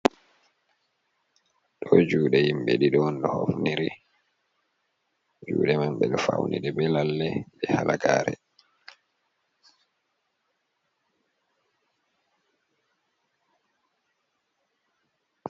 Ɗo juɗe himɓe ɗiɗi on ɗo hofniri, juɗe man ɓe ɗo faunide be lalle, e halagare.